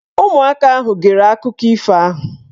Ụmụaka ahụ gere akụkọ ifo ahụ.